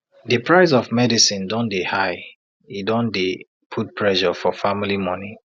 the price of medicine don dey high e don dey put pressure for family monie